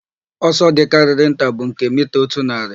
Ọsọ dịkarịrị nta bụ nke mita otu narị,